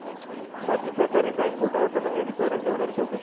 राज्य सहकारी बँक घोटाळा प्रकरणी अजित पवारांची होणार चौकशी